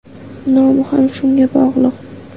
Nomi ham shunga bog‘liq.